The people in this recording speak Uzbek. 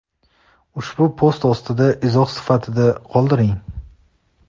ushbu post ostida izoh sifatida qoldiring.